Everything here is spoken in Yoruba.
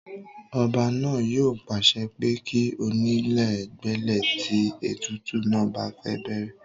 ọba náà yóò pàṣẹ pé kí onílè gbélé tí ètùtù náà bá fẹ́ bẹ̀rẹ̀